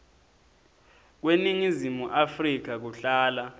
kweningizimu afrika kuhlala